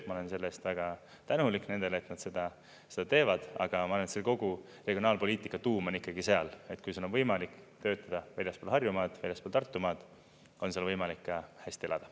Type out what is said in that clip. Ma olen selle eest väga tänulik nendele, et nad seda teevad, aga kogu regionaalpoliitika tuum on ikkagi seal, et kui sul on võimalik töötada väljaspool Harjumaad, väljaspool Tartumaad, on seal võimalik ka hästi elada.